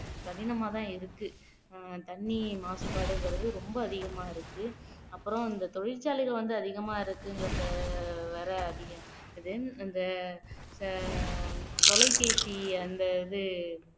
கடினமாதான் இருக்கு தண்ணி மாசுபாடுங்கறது ரொம்ப அதிகமா இருக்கு அப்புறம் இந்த தொழிற்சாலைகள் வந்து அதிகமா இருக்குங்கறது வேற அதிகம் then அந்த அஹ் தொலைபேசி அந்த இது